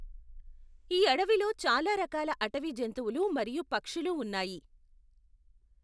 ఈ అడవిలో చాలా రకాల అటవీ జంతువులు మరియు పక్షులు ఉన్నాయి.